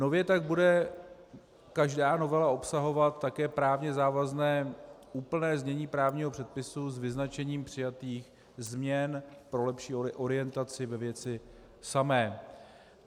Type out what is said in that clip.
Nově tak bude každá novela obsahovat také právně závazné úplné znění právního předpisu s vyznačením přijatých změn pro lepší orientaci ve věci samé.